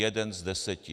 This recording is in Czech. Jeden z deseti.